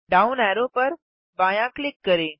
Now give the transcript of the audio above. down arrow पर बायाँ click करें